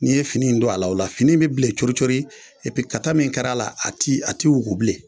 N'i ye fini don a la o la fini bɛ bilen cori cori i bɛ kata min kɛra a la a ti a tɛ wugu bilen.